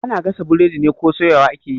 Ana gasa burodi ne ko soyawa ake yi?